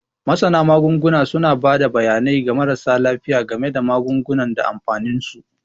Masana Magunguna suna ba da bayanai ga marasa lafiya game da magungunan da amfaninsu.